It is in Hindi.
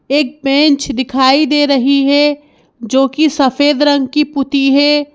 एक बेंच दिखाई दे रही है जो कि सफेद रंग की पुती है।